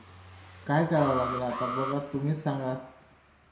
काय करावं लागेल बघा आता तुम्हीच सांगा.